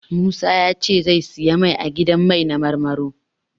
Musa ya ce zai siyi mai a gidan mai na Marmaro.